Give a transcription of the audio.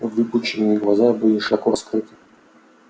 выпученные глаза были широко раскрыты